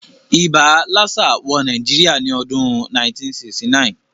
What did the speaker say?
Ibà lassa wo Naijiria ni odún 1969